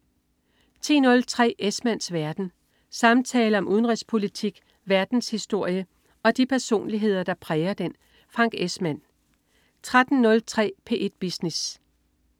10.03 Esmanns verden. Samtaler om udenrigspolitik, verdenshistorie og de personligheder, der præger den. Frank Esmann 13.03 P1 Business